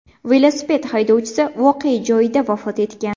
Velosiped haydovchisi voqea joyida vafot etgan.